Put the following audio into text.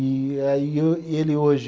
E aí e eu, e ele hoje